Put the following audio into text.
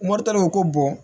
ko bɔn